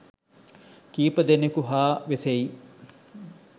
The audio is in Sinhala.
කීප දෙනෙකු හා වෙසෙයි